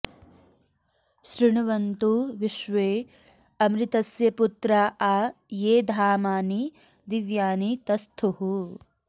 शृ॒ण्वन्तु॒ विश्वे॑ अ॒मृत॑स्य पु॒त्रा आ ये धामा॑नि दि॒व्यानि॑ त॒स्थुः